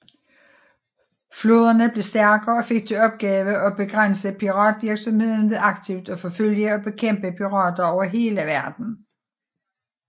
Flåderne blev stærkere og fik til opgave at begrænse piratvirksomheden ved aktivt at forfølge og bekæmpe pirater over hele verden